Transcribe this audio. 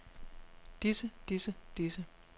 disse disse disse